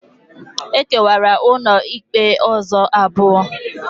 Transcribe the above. E kewara ụlọikpe ụzọ abụọ.